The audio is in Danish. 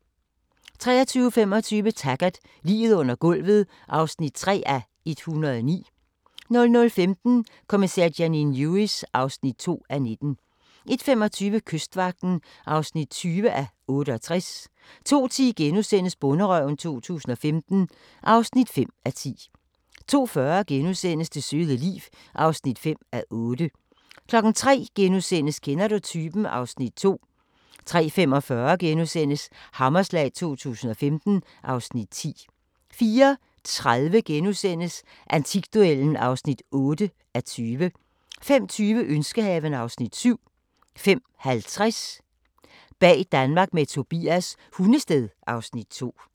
23:25: Taggart: Liget under gulvet (3:109) 00:15: Kommissær Janine Lewis (2:19) 01:25: Kystvagten (20:68) 02:10: Bonderøven 2015 (5:10)* 02:40: Det søde liv (5:8)* 03:00: Kender du typen? (Afs. 2)* 03:45: Hammerslag 2015 (Afs. 10)* 04:30: Antikduellen (8:20)* 05:20: Ønskehaven (Afs. 7) 05:50: Bag Danmark med Tobias – Hundested (Afs. 2)